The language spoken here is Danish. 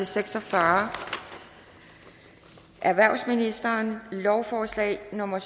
seks og fyrre erhvervsministeren lovforslag nummer